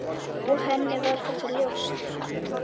Og henni var þetta ljóst.